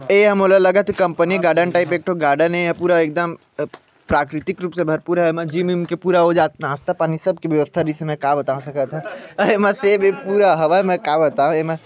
ए हा मोला लगत हे कंपनी गार्डन टाईप एक ठो गार्डन ए हा पूरा एकदम प्राकृतिक रूप से भरपूर है जिम विम के पूरा हो जात नास्ता पानी सबकी की व्यवस्था इसमें का बताव सकत हव आहे मस्से भी पुरा हवाई मे का बताव एमा।